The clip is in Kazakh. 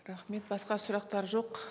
рахмет басқа сұрақтар жоқ